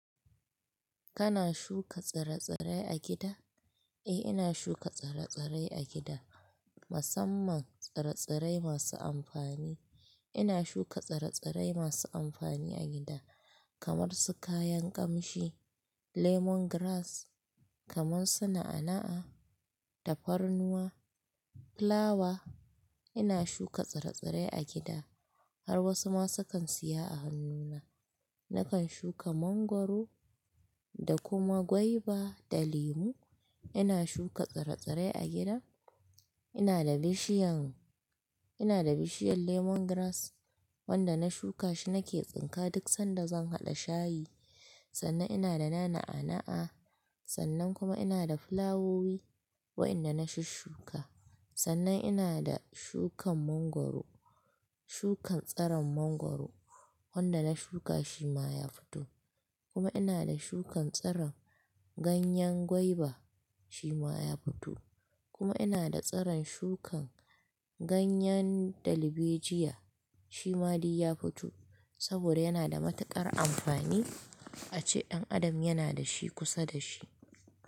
Kana shuka tsire-tsire a gida? Eh ina shuka tsire-tsire a gida, musamman tsire-tsire masu amfani. Ina shuka tsire-tsire masu amfani a gida kamar su kayan ƙamshi, lemongrass, kamar su na'a'a, tafarnuwa, fulawa. Ina shuka tsire-tsire a gida har wasu ma sukan siya a hannuna. Nakan shuka mangwaro da kuma gwaiba da lemu. Ina shuka tsire-tsire a gida. Ina da bishiyan, ina da bishiyan lemongrass wanda na shuka shi nake tsinka duk sanda zan haɗa shayi. Sannan ina da na'a'a'a, sannan kuma ina da fulawowi waɗanda na shushuka. Sannan ina da shukan mangwaro, shukan tsiron mangwaro wanda na shuka shi ma ya fito. Kuma ina da shukan tsiron ganyen gwaiba shi ma ya fito. Kuma ina da tsiron shukan ganyen darbejiyya shi ma dai ya fito saboda yana da matuƙar amfani a ci. Ɗan Adam yana da shi kusa da shi.